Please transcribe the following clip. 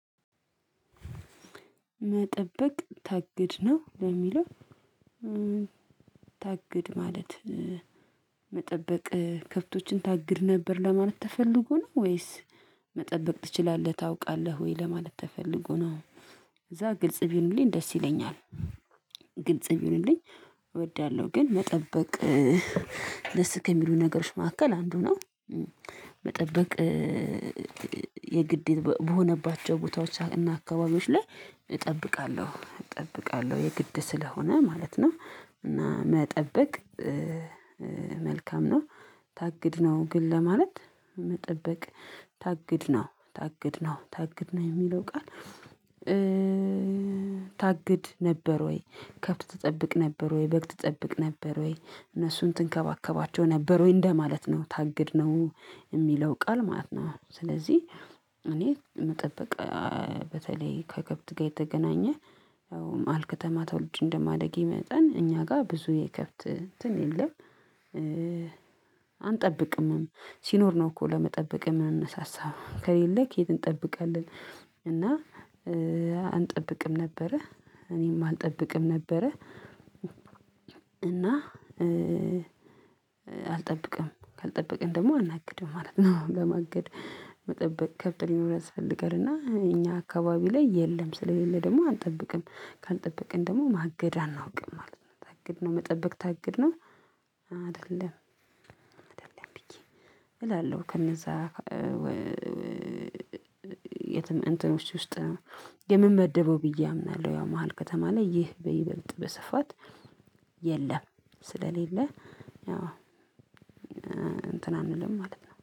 መጠበቅ ታግድ ነው ነው የሚለው ታግድ ማለት መጠበቅ ከብቶችን ታግድ ነበር ለማለት ተፈልጎ ነው ወይስ መጠበቅ ትችላለህ ታውቃለህ ወይ ለማለት ተፈልጎ ነው? እዛ ግልጽ ቢሆንልኝ ደስ ይለኛል። ግልጽ ይሁንልኝ እወዳለሁ ግን መጠበቅ ደስ ከሚሉ ነገሮች መካከል አንዱ ነው። መጠበቅ የግዴታ በሆነባቸው ቦታዎች እና አካባቢዎች ላይ እጠብቃለሁ እጠብቃለሁ የግድ ስለሆነ ማለት ነው። እና መጠበቅ መልካም ነው። ታግድ ነው ግን ለማለት መጠበቅ ታግድ ነው ታግድ ነው ታግድ ነው የሚለው ቃል? ታግድ ነበር ወይ ከብት ትጠብቅ ነበርወይ በግ ትጠብቅ ነበር ወይ እነሱን ትንከባከባቸው ነበር ወይ እንደማለት ነው ታግድ ነው የሚለው ቃል ማለት ነው። ስለዚህ እኔ መጠበቅ በተለይ ከከብት ጋር የተገናኘ መሃል ከተማ ተወልጄ እንደማደጌ መጠን እኛ ጋር ብዙ የከብት እንትን የለም። አንጠብቅምም ሲኖር ነው እኮ ለመጠበቅ የምንነሳሳ ከሌለ ከየት እንጠብቃለን? እና አንጠብቅም ነበረ እኔም አልጠብቅም ነበረ። እና አልጠብቅም ካልጠበቅን ደግሞ አናግድም ማለት ነው። ለማገድ መጠበቅ ከብት ሊኖር ያስፈልጋል እና እኛ አካባቢ ላይ የለም ስለሌለ ደግሞ አንጠብቅም ካልጠበቅን ደግሞ ማገድ አናውቅም ማለት ነው። ማገድ እና መጠበቅ ታግድ ነው አይደለም አይደለም ብየ እላለሁ። ከነዛ የትም እንትኖች ውስጥ ነው የምመደበው ብዬ አምናለሁ። ያው መሃል ከተማ ላይ ይህ በይበልጥ በስፋት የለም። ስለሌለ አዎ እንትን አንልም ማለት ነው።